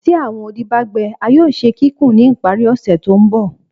Ti awọn odi ba gbẹ a yoo ṣe kikun ni ipari ose to nbọ